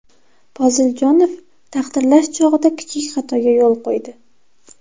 Poziljonov taqdirlash chog‘ida kichik xatoga yo‘l qo‘ydi.